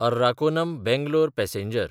Arakkonam Bangalore passenger